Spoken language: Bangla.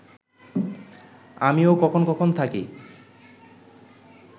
আমিও কখন কখন থাকি